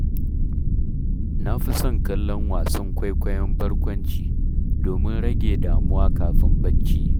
Na fi son kallon wasan kwaikwayon barkwanci, domin rage damuwa kafin barci.